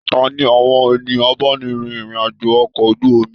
Taní àwọn ènìyàn abáni rìn irin-ajo okọ̀ ojú omi?